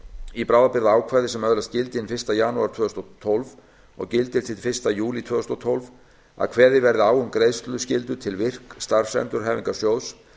í bráðabirgðaákvæði sem öðlast gildi hinn fyrsta janúar tvö þúsund og tólf og gildir til fyrsta júlí tvö þúsund og tólf að kveðið verði á um greiðsluskyldu til virk starfsendurhæfingarsjóðs